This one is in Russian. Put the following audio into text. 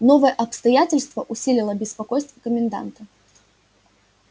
новое обстоятельство усилило беспокойство коменданта